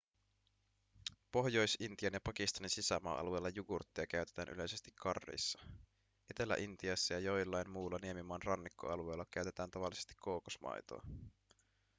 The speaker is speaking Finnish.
pohjois-intian ja pakistanin sisämaa-alueilla jugurttia käytetään yleisesti curryissa etelä-intiassa ja joillain muilla niemimaan rannikkoalueilla käytetään tavallisesti kookosmaitoa